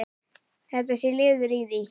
Þetta sé liður í því.